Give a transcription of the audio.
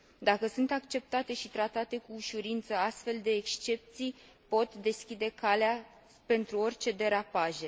Dacă sunt acceptate și tratate cu ușurință, astfel de excepții pot deschide calea pentru orice derapaje.